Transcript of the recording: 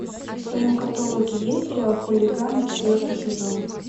в твоем каталоге есть сериал хулиганы четвертый сезон